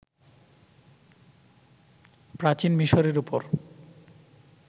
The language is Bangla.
প্রাচীন মিসরের উপর